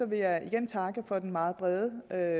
vil jeg igen takke for den meget brede og